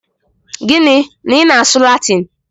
Gịnị? Na i na-asụ Latin!